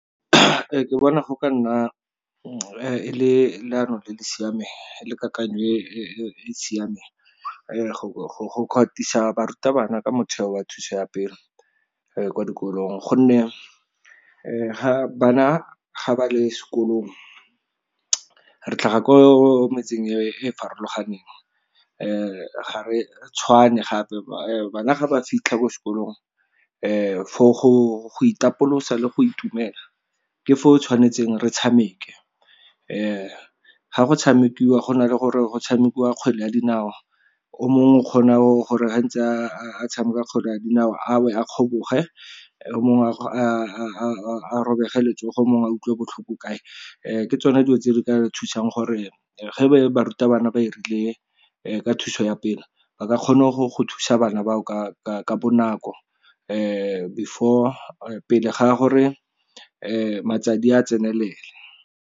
Ke bona go ka nna le leano le le siameng, le kakanyo e siameng go katisa barutabana ke motheo wa thuso ya pelo kwa dikolong, gonne bana ga ba le sekolong, re tlhaga ko metseng e e farologaneng, ga re tshwane gape. Bana ga ba fitlha ko sekolong for go itapolosa le go itumela, ke foo tshwanetseng re tshameke. Ga go tshamekiwa, go na le gore go tshamekiwa kgwele ya dinao, o mongwe o kgona gore ga ntse a tshameka kgwele ya dinao, a we, a kgoboge, mongwe a robege letsogo, o mongwe a utlwe botlhoko kae. Ke tsone dilo tse di ka thusang gore ge barutabana ba 'irile ka thuso ya pele, ba kgona go thusa bana ba ka bonako pele ga gore matsadi a tsenele.